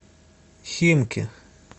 химки